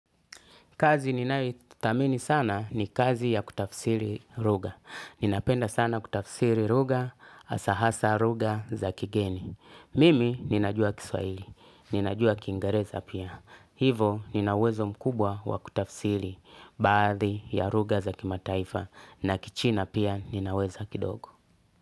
Kazi ninayoithamini sana ni kazi ya kutafsiri luga. Ninapenda sana kutafsiri luga, hasahasa luga za kigeni. Mimi ninajua kiswahili, ninajua kingereza pia. Hivo ninauwezo mkubwa wa kutafsiri. Baathi ya luga za kimataifa na kichina pia ninaweza kidogo.